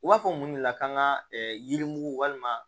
U b'a fɔ mun de la k'an ka yirimugu walima